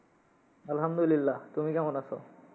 আলহামদুলিল্লাহ তুমি কেমন আসো?